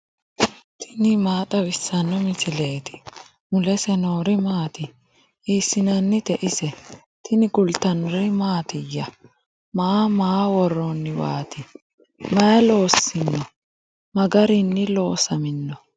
tini maa xawissanno misileeti ? mulese noori maati ? hiissinannite ise ? tini kultannori mattiya? Maa ma worooniwaatti? Mayi loosinno? Ma garinni loosamminno?